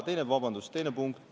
Vabandust!